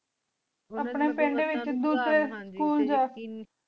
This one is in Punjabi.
ਅਪਨੀ ਪਿੰਡ ਵੇਚ ਦੋਸਾਰੀ ਸਕੂਲ ਜੋ